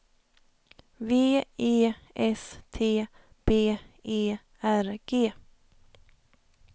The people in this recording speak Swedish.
V E S T B E R G